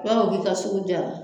I b'a fɔ k'i ka sugu diyara